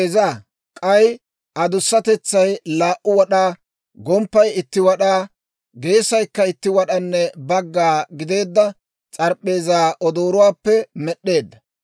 K'ay adussatetsay laa"u wad'aa, gomppay itti wad'aa, geesaykka itti wad'anne bagga gideedda s'arp'p'eezaa odooruwaappe med'd'eedda.